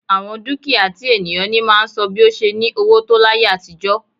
Àwọn dúkìá tí ènìyàn ní máa ń sọ bi ó ṣe ní owó tó láyé àtijọ́